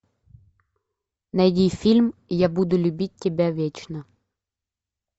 найди фильм я буду любить тебя вечно